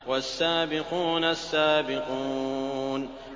وَالسَّابِقُونَ السَّابِقُونَ